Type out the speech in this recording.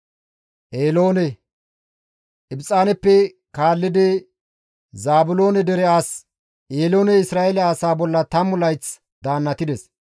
Ibxaaneppe kaallidi Zaabiloone dere as Eelooney Isra7eele asaa bolla 10 layth daannatides.